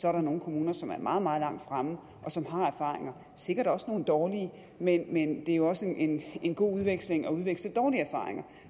er der nogle kommuner som er meget meget langt fremme og som har erfaringer sikkert også nogle dårlige men men det er jo også en god udveksling at udveksle dårlige erfaringer